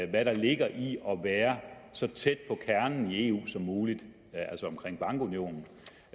hvad der ligger i at være så tæt på kernen i eu som muligt altså omkring bankunionen